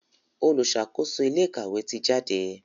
oluṣakoso ilé ìkàwé tí jáde.